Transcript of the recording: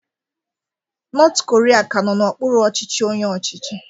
North Korea ka nọ n'okpuru ọchịchị onye ọchịchị